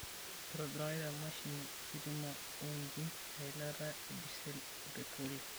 eitobirakaki te mashini ositima o injin eilata e disel o petiroli.